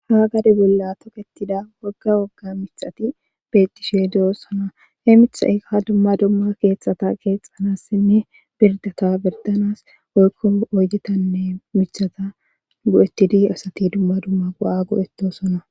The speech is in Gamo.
Ha gade bolla toketida wogga wogga mixati betishie de'osona he mithai ha dumma dumma keexxata keexxanas simmi birdata birdanas oykko oyjetanne mithata go'ettidi asati dumma dumma gua'a go'ettosona